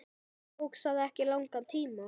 Tók það ekki langan tíma?